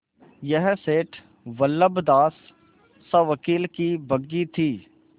यह सेठ बल्लभदास सवकील की बग्घी थी